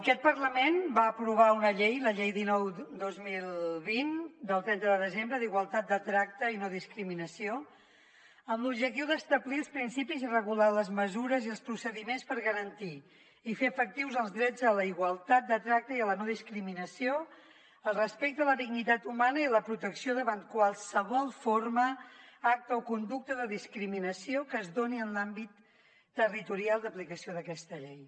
aquest parlament va aprovar una llei la llei dinou dos mil vint del trenta de desembre d’igualtat de tracte i no discriminació amb l’objectiu d’establir els principis i regular les mesures i els procediments per garantir i fer efectius els drets a la igualtat de tracte i a la no discriminació el respecte a la dignitat humana i la protecció davant de qualsevol forma acte o conducta de discriminació que es doni en l’àmbit territorial d’aplicació d’aquesta llei